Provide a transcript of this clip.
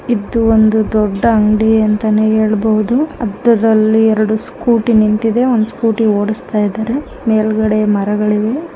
ಇದು ಒಂದು ದೊಡ್ಡ ಅಂಗ್ಡಿ ಅಂತಾನೆ ಹೇಳ್ಬಹುದು ಅದರಲ್ಲಿ ಎರಡು ಸ್ಕೂಟಿ ನಿಂತಿದೆ ಒಂದ್ ಸ್ಕೂಟಿ ಒಡಸ್ತಾ ಇದಾರೆ ಮೇಲ್ಗಡೆ ಮರಗಳಿವೆ.